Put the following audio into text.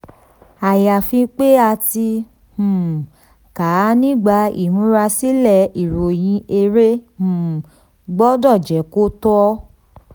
ayafi pé a ti um kà á nígbà ìmúrasílẹ̀ ìròyìn èrè um gbọdọ̀ jẹ́ kò tọ.